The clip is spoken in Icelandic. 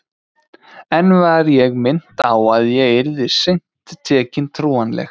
Enn var ég minnt á að ég yrði seint tekin trúanleg.